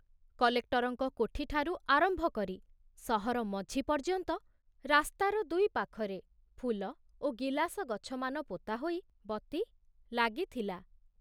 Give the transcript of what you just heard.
କଲେକ୍ଟରଙ୍କ କୋଠିଠାରୁ ଆରମ୍ଭ କରି ସହର ମଝି ପର୍ଯ୍ୟନ୍ତ ରାସ୍ତାର ଦୁଇପାଖରେ ଫୁଲ ଓ ଗିଲାସ ଗଛମାନ ପୋତାହୋଇ ବତୀ ଲାଗିଥିଲା।